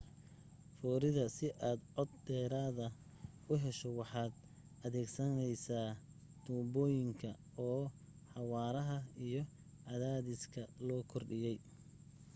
foorida si aad cod dheeraada u hesho waxaad adeegsanaysaa tuunbooyinka oo xawaaraha iyo cadaadiska loo kordhiyay